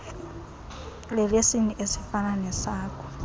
lelesini esifana nesakho